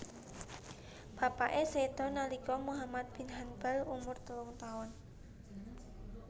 Bapake sedo nalika Muhammad bin Hanbal umur telung taun